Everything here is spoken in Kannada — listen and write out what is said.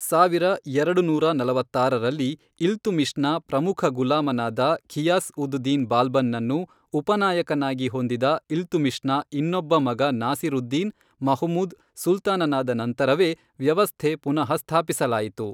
ಸಾವಿರ ಎರಡುನೂರ ನಲವತ್ತಾರರಲ್ಲಿ ಇಲ್ತುಮಿಶ್ನ ಪ್ರಮುಖ ಗುಲಾಮನಾದ ಘಿಯಾಸ್ ಉದ್ ದಿನ್ ಬಾಲ್ಬನ್ ನನ್ನು ಉಪನಾಯಕನಾಗಿ ಹೊಂದಿದ ಇಲ್ತುಮಿಶ್ನ ಇನ್ನೊಬ್ಬ ಮಗ ನಾಸಿರುದ್ದೀನ್ ಮಹಮೂದ್ ಸುಲ್ತಾನನಾದ ನಂತರವೇ ವ್ಯವಸ್ಥೆ ಪುನಃ ಸ್ಥಾಪಿಸಲಾಯಿತು.